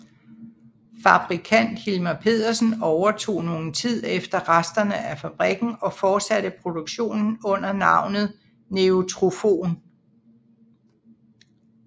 Fabrikant Hilmer Pedersen overtog nogen tid efter resterne af fabrikken og fortsatte produktionen under navnet Neutrofon